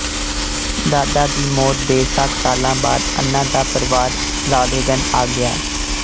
ਦਾਦਾ ਦੀ ਮੌਤ ਦੇ ਸੱਤ ਸਾਲਾਂ ਬਾਅਦ ਅੰਨਾ ਦਾ ਪਰਵਾਰ ਰਾਲੇਗਨ ਆ ਗਿਆ